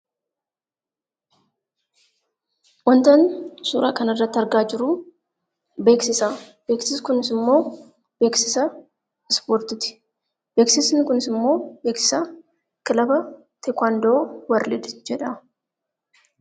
Wantoonni suuraa kana irratti argaa jirru, beeksisa. Beeksisni kunis immoo beeksisa ispoortiiti. Beeksisni kunis immoo beeksisa kilaba teekaandoo warlidis (worlds) jedhama.